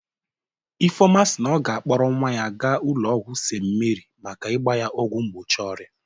Ifeoma si na ọ ga-akpọrọ nwa ya gaa ụlọ ọgwụ St.Mary maka ịgba ya ọgwụ mgbochi ọrịa